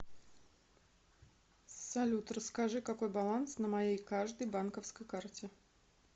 салют расскажи какой баланс на моей каждой банковской карте